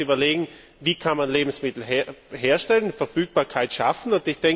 Wir müssen uns überlegen, wie man Lebensmittel herstellen und Verfügbarkeit schaffen kann.